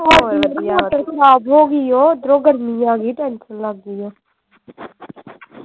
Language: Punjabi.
ਓਧਰੋਂ ਗਰਮੀ ਆ ਗਈ tension ਲੱਗ ਗਈ ਆ